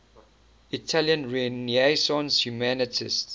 italian renaissance humanists